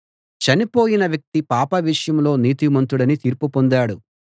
చనిపోయిన వ్యక్తి పాపం విషయంలో నీతిమంతుడని తీర్పు పొందాడు